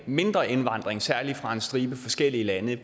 mindre indvandring særlig fra en stribe forskellige lande